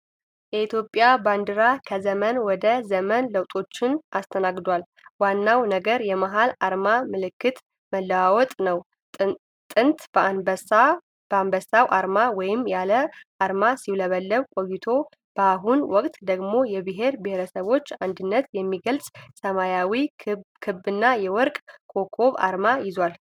የኢትዮጵያ ባንዲራ ከዘመን ወደ ዘመን ለውጦችን አስተናግዷል። ዋናው ነገር የመሃሉ አርማ (ምልክት) መለዋወጥ ነው። ጥንት በአንበሳው አርማ ወይም ያለ አርማ ሲውለበለብ ቆይቶ፣ በአሁኑ ወቅት ደግሞ የብሔር ብሔረሰቦችን አንድነት የሚገልጽ ሰማያዊ ክብና የወርቅ ኮከብ አርማ ይዟል።